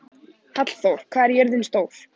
Hallþór, hvað er jörðin stór?